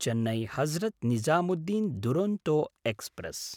चेन्नै–हजरत् Nizamuddin Duronto express